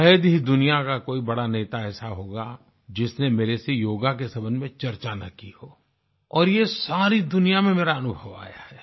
शायद ही दुनिया का कोई बड़ा ऐसा नेता होगा जिसने मेरे से योग के संबंध में चर्चा न की हो और ये सारी दुनिया में मेरा अनुभव आया है